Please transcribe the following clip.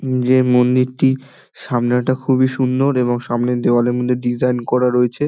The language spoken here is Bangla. উম যে মন্দিরটি সামনেটা খুব সুন্দর এবং সামনের দেওয়ালের মধ্যে ডিসাইন করা রয়েছে।